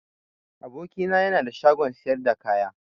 Aboki na yana da shagon siyar da kaya.